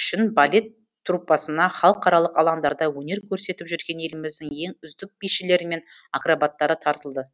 үшін балет труппасына халықаралық алаңдарда өнер көрсетіп жүрген еліміздің ең үздік бишілері мен акробаттары тартылды